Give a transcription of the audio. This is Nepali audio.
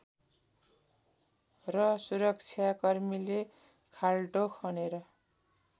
र सुरक्षाकर्मीले खाल्डो खनेर